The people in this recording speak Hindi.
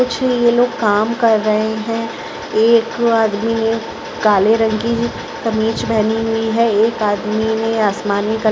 कुछ ये लोग काम कर रहे हैं एक आदमी ने काले रंग की कमीज पहनी हुई हैं एक आदमी में आसमानी कलर --